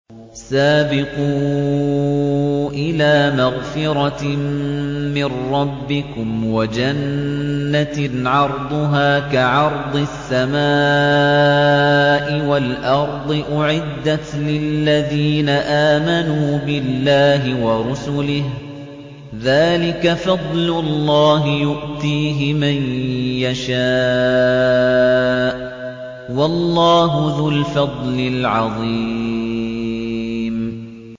سَابِقُوا إِلَىٰ مَغْفِرَةٍ مِّن رَّبِّكُمْ وَجَنَّةٍ عَرْضُهَا كَعَرْضِ السَّمَاءِ وَالْأَرْضِ أُعِدَّتْ لِلَّذِينَ آمَنُوا بِاللَّهِ وَرُسُلِهِ ۚ ذَٰلِكَ فَضْلُ اللَّهِ يُؤْتِيهِ مَن يَشَاءُ ۚ وَاللَّهُ ذُو الْفَضْلِ الْعَظِيمِ